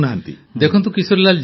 ପ୍ରଧାନମନ୍ତ୍ରୀ ଦେଖନ୍ତୁ କିଶୋରୀଲାଲ